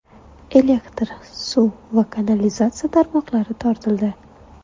Elektr, suv va kanalizatsiya tarmoqlari tortildi.